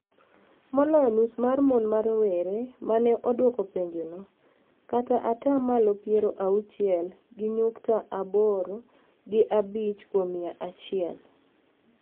Maloyo nus mar mon ma rowere ma ne odwoko penjono, kata ata malo piero auchiel gi nyukta abori gi abich kuom mia achiel,